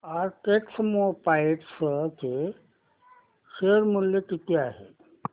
आज टेक्स्मोपाइप्स चे शेअर मूल्य किती आहे